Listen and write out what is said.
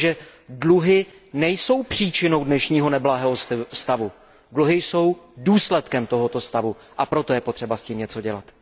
Protože dluhy nejsou příčinou dnešního neblahého stavu, dluhy jsou důsledkem tohoto stavu, a proto je potřeba s tím něco dělat.